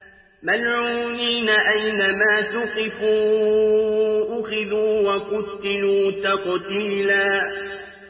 مَّلْعُونِينَ ۖ أَيْنَمَا ثُقِفُوا أُخِذُوا وَقُتِّلُوا تَقْتِيلًا